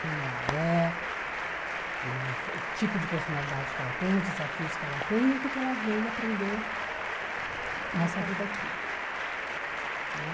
Quem ela é, o tipo de personalidade que ela tem, os desafios que ela tem e o que que ela veio aprender nessa vida aqui né.